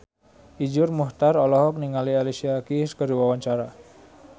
Iszur Muchtar olohok ningali Alicia Keys keur diwawancara